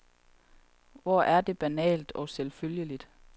Hvor er det banalt og selvfølgeligt.